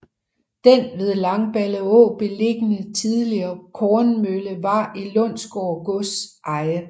Den ved Langballeå beliggende tidligere kornmølle var i Lundsgård gods eje